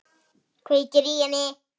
Kveikir í henni.